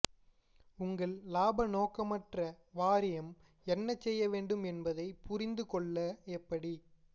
உங்கள் இலாப நோக்கமற்ற வாரியம் என்ன செய்ய வேண்டும் என்பதை புரிந்து கொள்ள எப்படி